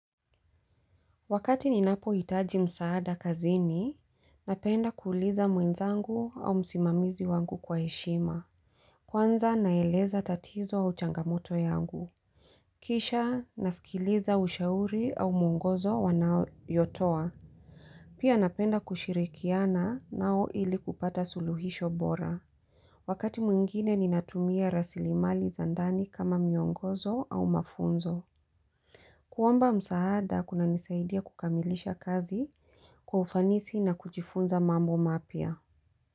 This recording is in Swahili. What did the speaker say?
Wakati ninapohitaji msaada kazini, napenda kuuliza mwenzangu au msimamizi wangu kwa heshima. Kwanza naeleza tatizo au changamoto yangu. Kisha nasikiliza ushauri au mwongozo wanayotoa. Pia napenda kushirikiana nao ili kupata suluhisho bora. Wakati mwingine ninatumia rasilimali za ndani kama miongozo au mafunzo. Kuomba msaada kunanisaidia kukamilisha kazi, kwa ufanisi na kjifunza mambo mapya.